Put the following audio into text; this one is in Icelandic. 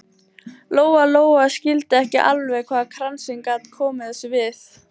Lóa Lóa skildi ekki alveg hvað kransinn gat komið þessu við.